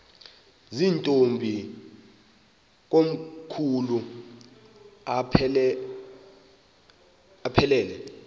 zirntombi komkhulu aphelela